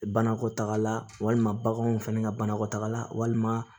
Banakɔtagala walima baganw fɛnɛ ka banakɔtagala walima